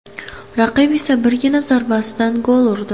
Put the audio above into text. Raqib esa birgina zarbasidan gol urdi.